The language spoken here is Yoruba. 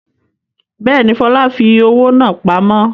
Bẹ́ẹ̀ni, Fọlá fi owó náà pamọ́.